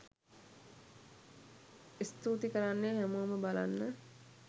ඉස්තූතී කරන්නේ හැමෝම බලන්න